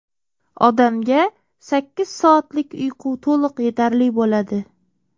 Odamga sakkiz soatlik uyqu to‘liq yetarli bo‘ladi.